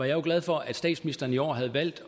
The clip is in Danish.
jo glad for at statsministeren i år havde valgt